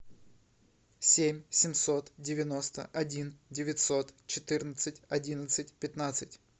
семь семьсот девяносто один девятьсот четырнадцать одиннадцать пятнадцать